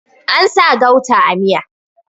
An sa gauta a miya